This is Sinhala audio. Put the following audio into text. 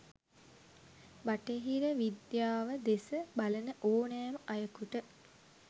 බටහිර විද්යාව දෙස බලන ඕනෑම අයකුට